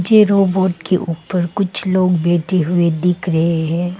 Robot के ऊपर कुछ लोग बैठे हुए दिख रहे हैं।